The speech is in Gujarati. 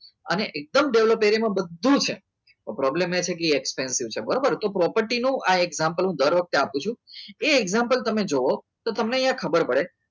અને એ એકદમ develop એરિયામાં બધું જ છે પણ problem એ છે કે એ expensive છે બરોબર તો property નો આ example હું દર વખતે આપું છું એ example તમે જુઓ તો તમને અહીંયા ખબર પડે